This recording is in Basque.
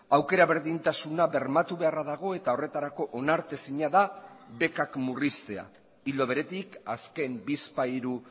aukera berdintasuna bermatu beharra dago eta horretarako onartezina da bekak murriztea ildo beretik azken bizpahiru